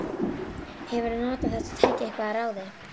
Hefurðu notað þetta tæki eitthvað að ráði?